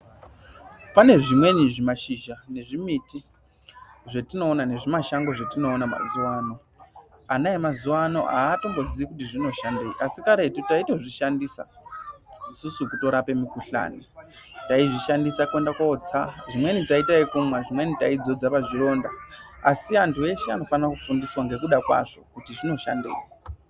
Pane zvimweni zvi mashizha nezvi miti zvetino ona nezvi mashango zve tino ona mazuva ano ana emazuva ano atombo zii kuti zvino shandei asi karetu taito zvi shandisa isusu kuto rape mukuhlani taizvi shandisa kuenda kotsa zvimweni tai ita yekumwa zvimweni tai dzodza pa zvironda asi antu eshe ano fana ku fundiswa nge kuda kwazvo kuti zvino shandei.